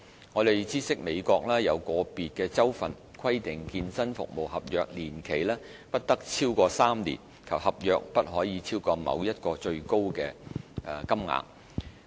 我們知悉美國有個別州份規定健身服務合約年期不得超過3年及合約不可超過某一最高金額。